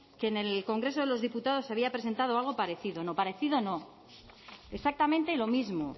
que en el congreso de los diputados se había presentado algo parecido no parecido no exactamente lo mismo